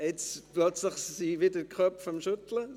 Jetzt werden die Köpfe plötzlich wieder geschüttelt.